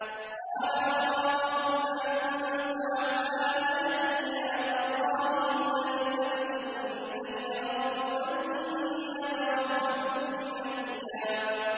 قَالَ أَرَاغِبٌ أَنتَ عَنْ آلِهَتِي يَا إِبْرَاهِيمُ ۖ لَئِن لَّمْ تَنتَهِ لَأَرْجُمَنَّكَ ۖ وَاهْجُرْنِي مَلِيًّا